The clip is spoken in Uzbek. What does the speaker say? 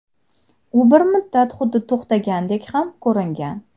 U bir muddat xuddi to‘xtagandek ham ko‘ringan.